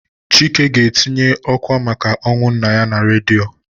Chike ga-etinye ọ́kwà maka ọnwụ nna ya na redio.